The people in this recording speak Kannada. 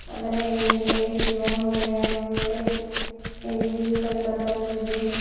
ಅದರ ಮೇಲ್ಗಡೆ ಶಿವಂ ಡಯೋಗ್ನೆಟಿಕ್ ಇಂಜಿನ್ಸ್ ಎಂದು ಬರೆದಿದೆ.